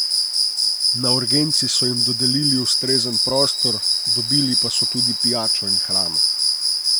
Na urgenci so jim dodelili ustrezen prostor, dobili pa so tudi pijačo in hrano.